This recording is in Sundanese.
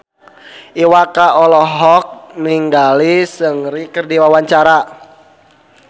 Iwa K olohok ningali Seungri keur diwawancara